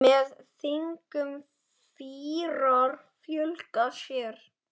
Með þingum fýrar fjölga sér.